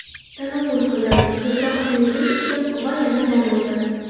Tanovvul qildim, ko‘proq suyuqlik ichdim va yana dam oldim.